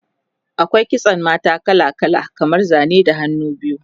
akwai kitsan mata kala kala kamar Zane da hannu biyu